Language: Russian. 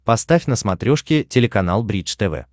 поставь на смотрешке телеканал бридж тв